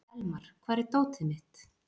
Elmar, hvar er dótið mitt?